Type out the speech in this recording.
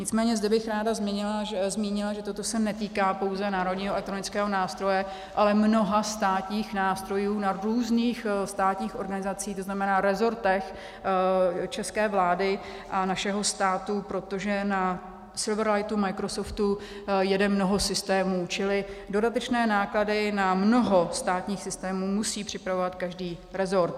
Nicméně zde bych ráda zmínila, že toto se netýká pouze Národního elektronického nástroje, ale mnoha státních nástrojů na různých státních organizacích, to znamená resortech české vlády a našeho státu, protože na Silverlightu Microsoftu jede mnoho systémů, čili dodatečné náklady na mnoho státních systémů musí připravovat každý resort.